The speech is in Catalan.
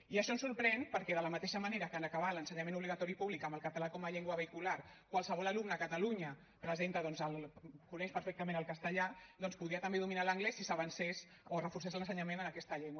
i això ens sorprèn perquè de la mateixa manera que en acabar l’ensenyament obligatori públic amb el català com a llengua vehicular qualsevol alumne a catalunya coneix perfectament el castellà doncs podria també dominar l’anglès si s’avancés o es reforcés l’ensenyament en aquesta llengua